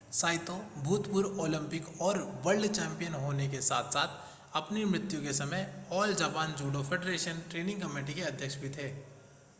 Saito भूतपूर्व Olympic और world champion होने के साथ-साथ अपनी मृत्यु के समय all Japan judo federation training committee के अध्यक्ष भी थे